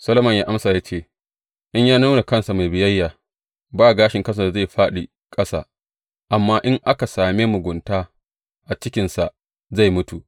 Solomon ya amsa ya ce, In ya nuna kansa mai biyayya, ba gashin kansa da zai fāɗi ƙasa; amma in aka same mugunta a cikinsa, zai mutu.